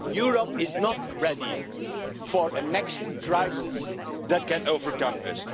no'. Europe is not ready for the next crisis that may overcome